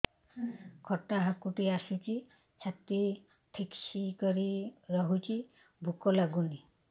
ଖଟା ହାକୁଟି ଆସୁଛି ଛାତି ଠେସିକରି ରଖୁଛି ଭୁକ ଲାଗୁନି